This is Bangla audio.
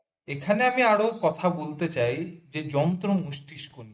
এখানে আমি আরো কথা বলতে চাই যে যন্ত্র মস্তিষ্ক নিয়ে